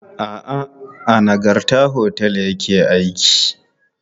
A'a, a Nagarta otel ya ke aiki.